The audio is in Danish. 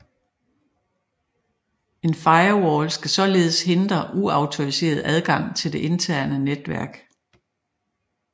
En firewall skal således hindre uautoriseret adgang til det interne netværk